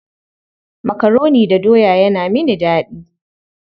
Makaroni da doya yana mini daɗi.